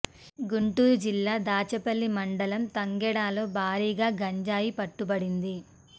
గుంటూరు జిల్లా దాచేపల్లి మండలం తంగెడలో భారీగా గంజాయి పట్టుబడింది